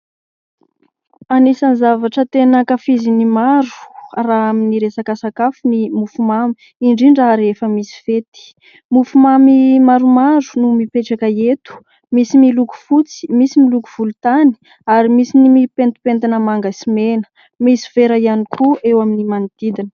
Anisany zavatra tena ankafizin'ny maro raha amin'ny resaka sakafo ny mofomamy indrindra rehefa misy fety, mofomamy maromaro no mipetraka eto, misy miloko fotsy, misy miloko volontany ary misy ny mipentipentina manga sy mena, misy vera ihany koa eo amin'ny manodidina.